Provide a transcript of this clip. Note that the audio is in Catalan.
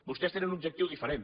vostès tenen un objectiu diferent